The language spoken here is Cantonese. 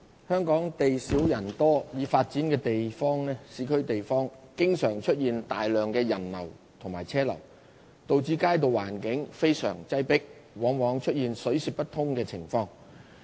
香港地少人多，已發展的市區地方經常出現大量人流和車流，導致街道環境非常擠迫，往往出現水泄不通情況。